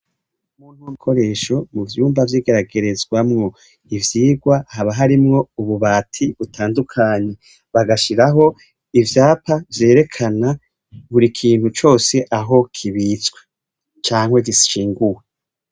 Ibikoresho mu vyumba vyigeragerezwamwo ivyigwa haba harimwo ububati butandukanye bagashiraho ivyapa vyerekana burikintu cose aho kibitswecanke gishinguwe.